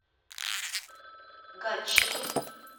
гатчину